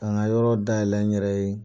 K'a n ka yɔrɔ dayɛlɛ n yɛrɛ ye.